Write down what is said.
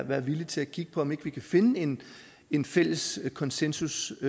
være villige til at kigge på om ikke vi kan finde en en fælles konsensustekst